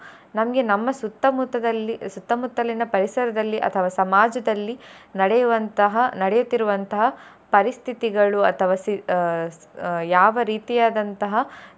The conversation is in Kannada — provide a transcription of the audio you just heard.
ನಮ್ಗೆ ನಮ್ಮ ಸುತ್ತಮುತ್ತದಲ್ಲಿ ಸುತ್ತ ಮುತ್ತಲಿನ ಪರಿಸರದಲ್ಲಿ ಅಥವಾ ಸಮಾಜದಲ್ಲಿ ನಡೆಯುವಂತ ನಡೆಯುತ್ತಿರುವಂತಹ ಪರಿಸ್ಥಿತಿಗಳು ಅಥವಾ ಸಿ~ ಅಹ್ ಯಾವ ರೀತಿಯಾದಂತಹ.